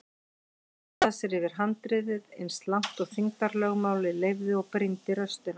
Hallaði sér yfir handriðið eins langt og þyngdarlögmálið leyfði og brýndi raustina.